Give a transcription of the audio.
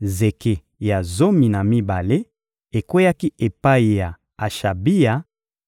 Zeke ya zomi na mibale ekweyaki epai ya Ashabia,